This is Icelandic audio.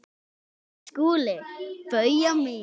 SKÚLI: Bauja mín!